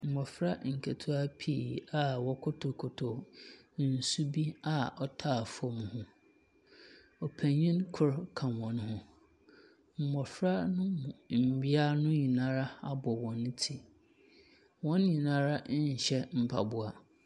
Maamefoɔ mpannfoɔ bi gyina baabi. Wɔn nyinaa fura ntoma a ɛyɛ pɛ. Abotire bobɔ wɔn ti. Na botan bi ɛwɔ wɔn akyi. Ebi kuta adeɛ bi wɔ wɔn nsam.